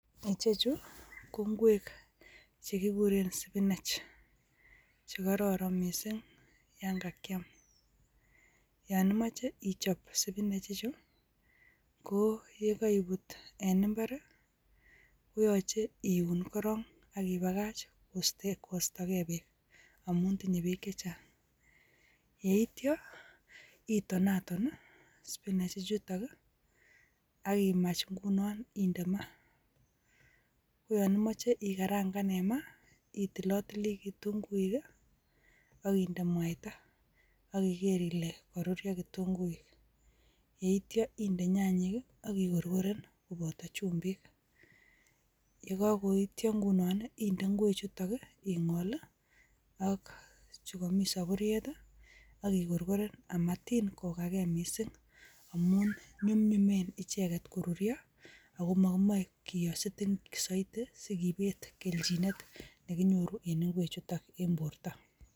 Ichech ko ingwek chekikoreen spinach ,che kororon missing yon ma kiam. Yon imoche ispinech ichu ko ye koibuut en imbar I,koyoche iun korong ak ibakach kostoogei beek amun tinye beek chechang. Yeityoo iton aton I,spinechi ichutok ak imach ingunon indee maa. Koyon yon imoche ikarangan en maa, itilotilii kitunguuik I akindee mwaita ak iger ilee koruryoo komie kitunguik .Yeityoo indeed nyanyiik i ak ikorkoren kobooto chumbiik, yeityo ingunon indeed ingwekchutok ingol i ak chukomii sopuriet I,am ikorkoreen matin kogagee missing amun nyumnyumeem icheket koruryoo. Amun mokimoe kiyoe soitii sikibet kelchinenyin nekinyoru en ingwrchutok en bortoo.